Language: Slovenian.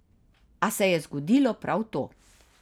A se je zgodilo prav to.